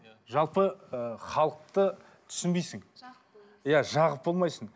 жалпы ы халықты түсінбейсің иә жағып болмайсың